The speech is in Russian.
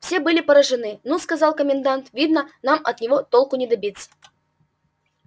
все были поражены ну сказал комендант видно нам от него толку не добиться